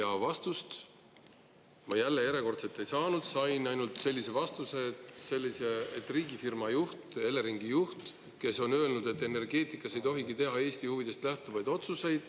Aga vastust ma jälle, järjekordselt ei saanud, sain ainult sellise vastuse, et riigifirma juht, Eleringi juht on öelnud, et energeetikas ei tohigi teha Eesti huvidest lähtuvaid otsuseid …